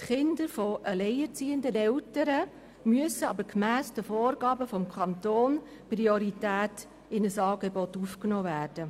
die Kinder alleinerziehender Eltern müssen aber gemäss den Vorgaben des Kantons prioritär in ein Angebot aufgenommen werden.